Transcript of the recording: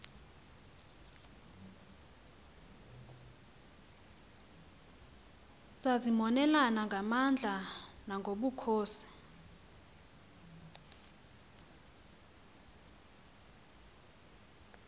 zazimonelana ngamandla nangobukhosi